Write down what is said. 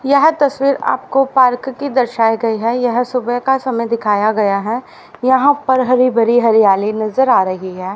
यह तस्वीर आपको पार्क की दर्शाइ गई है। यह सुबह का समय दिखाया गया है। यहां पर हरी भरी हरियाली नजर आ रही है।